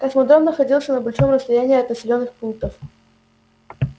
космодром находился на большом расстоянии от населённых пунктов